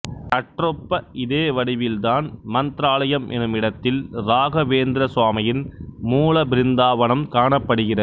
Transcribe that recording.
சற்றொப்ப இதே வடிவில்தான் மந்த்ராலயம் என்னுமிடத்தில் ராகவேந்திரர் சுவாமியின் மூல பிருந்தாவனம் காணப்படுகிறது